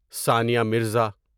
Sania Mirza